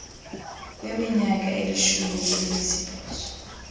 kweminyaka elishumi elinesibhozo